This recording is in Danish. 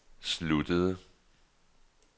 sluttede